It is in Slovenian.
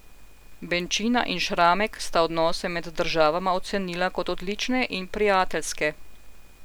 Benčina in Šramek sta odnose med državama ocenila kot odlične in prijateljske.